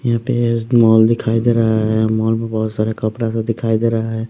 यहाँ पे मॉल दिखाई दे रहा है मॉल में बहुत सारे कपड़ा सब दिखाई दे रहा है।